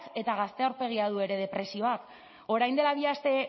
eta gazte aurpegia du ere depresioak orain dela bi aste